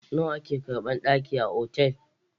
Nawa ake karɓan ɗaki a otal?